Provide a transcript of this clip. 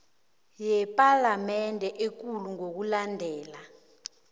yepalamende ekulu ngokulandela